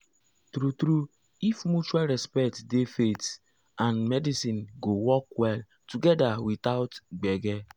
true true if mutual respect dey faith and medicine go work well together without gbege.